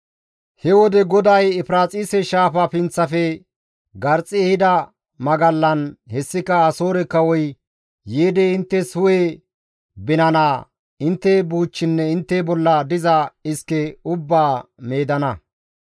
He wode GODAY Efiraaxise Shaafa pinththafe garxxi ehida magallan, hessika Asoore kawoy yiidi inttes hu7e binanaa, intte buuchchinne intte bolla diza iske ubbaa meedana.